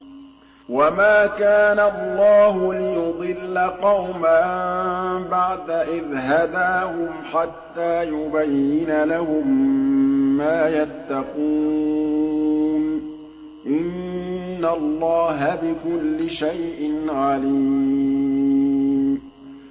وَمَا كَانَ اللَّهُ لِيُضِلَّ قَوْمًا بَعْدَ إِذْ هَدَاهُمْ حَتَّىٰ يُبَيِّنَ لَهُم مَّا يَتَّقُونَ ۚ إِنَّ اللَّهَ بِكُلِّ شَيْءٍ عَلِيمٌ